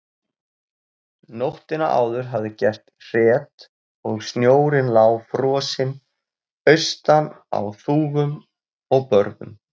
Nóttina áður hafði gert hret og snjórinn lá frosinn austan á þúfum og börðum.